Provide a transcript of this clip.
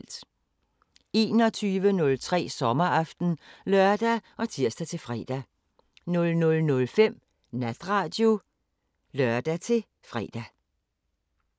21:03: Sommeraften (lør og tir-fre) 00:05: Natradio (lør-fre)